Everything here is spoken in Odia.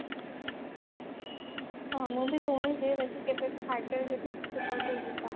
ହଁ ମୁଁ ବି ଶୁଣିଛି ବାକି ଭାଗ୍ୟରେ ଯଦି କେବେ ଥିବ ତ ଯିବା